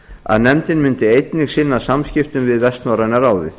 að nefndin myndi einnig sinna samskiptum við vestnorræna ráðið